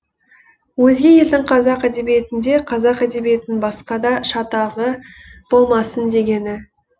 өзге елдің қазақ әдебиетінде қазақ әдебиетінің басқада шатағы болмасын дегені